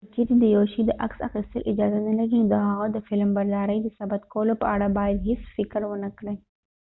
که چیرې د یو شي د عکس اخیستل اجازه نلري نو د هغه د فلمبردارۍ د ثبت کولو په اړه باید هیڅ فکر ونکړې